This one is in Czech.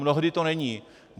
Mnohdy to není.